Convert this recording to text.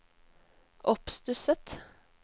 oppstusset